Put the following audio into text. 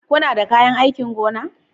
Kuna da kayan aikin gona?